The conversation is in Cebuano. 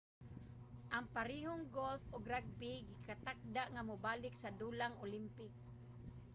ang parehong golf ug rugby gikatakda nga mobalik sa dulang olympic